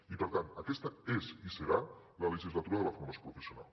i per tant aquesta és i serà la legislatura de la formació professional